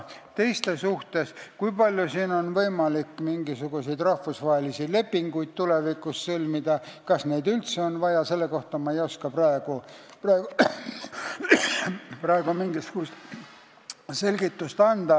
Selle kohta, kui palju on siin võimalik tulevikus mingisuguseid rahvusvahelisi lepinguid sõlmida ja kas neid üldse vaja on, ma ei oska praegu selgitust anda.